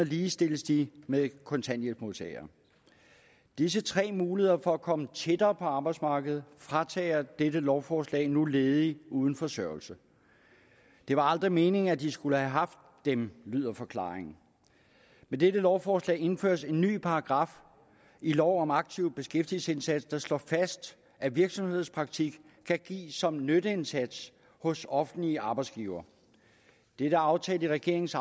ligestillet med kontanthjælpsmodtagere disse tre muligheder for at komme tættere på arbejdsmarkedet fratager dette lovforslag nu ledige uden forsørgelse det var aldrig meningen at de skulle have haft dem lyder forklaringen med dette lovforslag indføres en ny paragraf i lov om en aktiv beskæftigelsesindsats der slår fast at virksomhedspraktik kan gives som nytteindsats hos offentlige arbejdsgivere dette er aftalt i regeringens